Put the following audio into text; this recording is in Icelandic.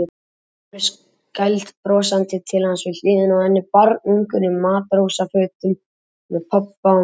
Vinurinn skælbrosandi til hans við hliðina á henni, barnungur í matrósafötum með pabba og mömmu.